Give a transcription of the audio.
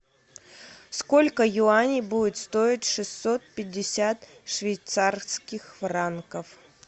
сколько юаней будет стоить шестьсот пятьдесят швейцарских франков